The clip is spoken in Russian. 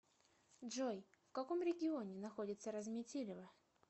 джой в каком регионе находится разметелево